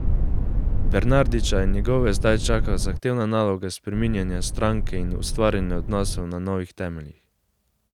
Bernardića in njegove zdaj čaka zahtevna naloga spreminjanja stranke in ustvarjanja odnosov na novih temeljih.